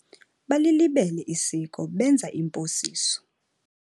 Balilibele isiko benza imposiso.